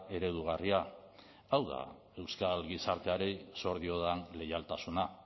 eredugarria hau da euskal gizarteari zor diodan leialtasuna